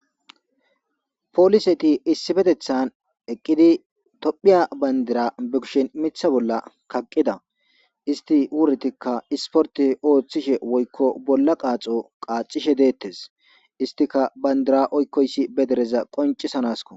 poliseti issifetethan eqqidi tophiya bandira be kushen mitha bolla kaqqida isti wurtikka isporte ooththishe woykko bolla qaaxo qaacishe deettes istika bayndira oykkoyssi bedereza qoncisanasko